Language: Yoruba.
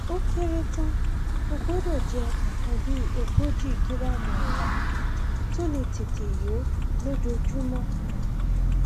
ó kéré tán o gbọdọ jẹ nǹkan bí ogójì gíráàmù ọrá tó lè tètè yó lójoojúmọ um